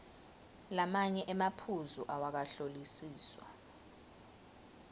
lamanye emaphuzu awakahlolisiswa